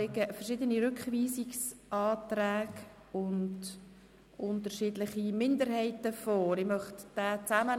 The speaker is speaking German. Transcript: Es liegen verschiedene Rückweisungsanträge und unterschiedliche Minderheitsanträge vor.